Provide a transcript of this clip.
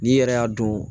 N'i yɛrɛ y'a don